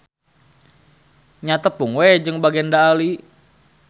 Nya tepung we jeung Bagenda Ali.